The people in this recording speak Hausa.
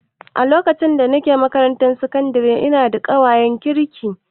A lokacin da nake makarantar sakandare ina da ƙawayen kirki